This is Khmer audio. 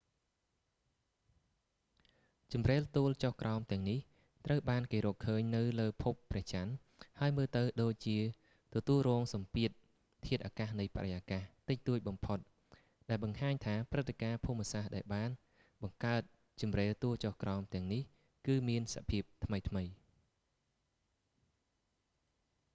ជម្រេលទួលចុះក្រោមទាំងនេះត្រូវបានគេរកឃើញនៅលើភពព្រះច័ន្ទហើយមើលទៅដូចជាទទួលរងសំពាធធាតុអាកាសនៃបរិយាកាសតិចតួចបំផុតដែលបង្ហាញថាព្រឹត្តិការណ៍ភូមិសាស្ត្រដែលបានបង្កើតជម្រេលទួលចុះក្រោមទាំងនេះគឺមានសភាពថ្មីៗ